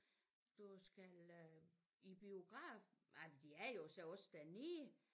Du skal øh i biografen ej men de er jo så også dernede